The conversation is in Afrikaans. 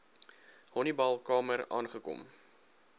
honiball kamer aangekom